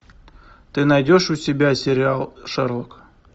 ты найдешь у себя сериал шерлок